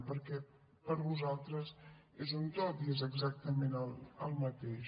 perquè per a vosaltres és un tot i és exactament el mateix